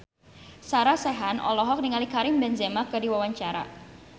Sarah Sechan olohok ningali Karim Benzema keur diwawancara